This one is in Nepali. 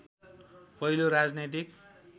पहिलो राजनैतिक